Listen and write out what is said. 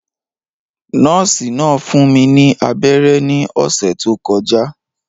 Nọ́ọ̀sì náà fún mi ní abẹ́rẹ́ ní ọ̀sẹ̀ tó kọjá